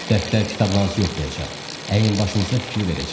Dəftər-kitablarınızı yoxlayacaq, əyin-başınıza fikir verəcək.